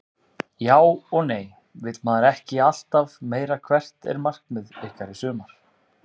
Já og nei vill maður ekki alltaf meira Hvert er markmið ykkar í sumar?